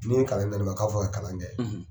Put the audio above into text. N'o ye kalan in damiɛ k'aw fɔ ka kalan kɛ!